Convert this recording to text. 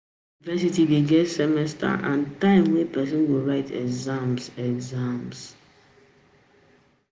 University dey get semesters and time wey person go write exam